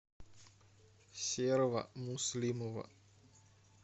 серого муслимова